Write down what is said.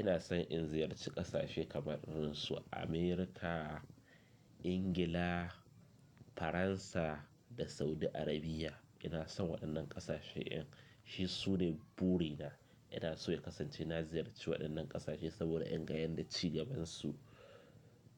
Ina son in ziyarci ƙasashe kamar su America, Ingila, Faransa da Saudi Arabia. Ina san wayannan ƙasashe, in shi su ne burina. Ina so ya kasance na ziyarci waɗannan ƙasashe saboda inga yadda ci gabansu,